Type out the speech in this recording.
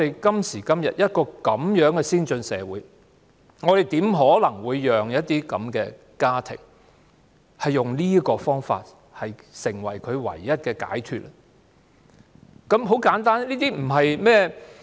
今時今日，在一個如此先進的社會，我們怎能讓一些家庭用這種方式作為唯一的解脫方法？